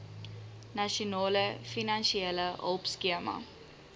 nasionale finansiële hulpskema